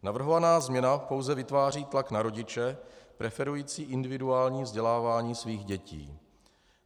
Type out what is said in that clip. Navrhovaná změna pouze vytváří tlak na rodiče preferující individuální vzdělávání svých dětí.